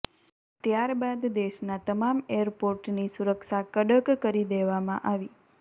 ત્યાર બાદ દેશનાં તમામ એરપોર્ટની સુરક્ષા કડક કરી દેવામાં આવી